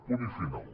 punt i final